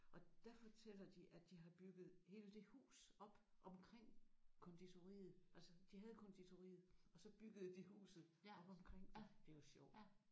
Og der fortæller de at de har bygget hele det hus op omkring konditoriet altså de havde konditoriet og så byggede de huset op omkring det. Det er jo sjovt